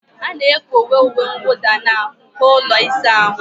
A na-ekowe uwe mwụda na nko ụlọ ịsa ahụ.